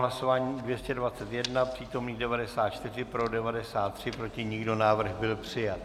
Hlasování 221, přítomných 94, pro 93, proti nikdo, návrh byl přijat.